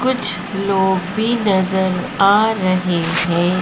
कुछ लोग भी नजर आ रहे है।